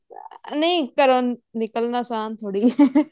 ਨਹੀਂ ਘਰੋਂ ਨਿਕਲਣਾ ਆਸਾਨ ਥੋੜੀ ਹੈ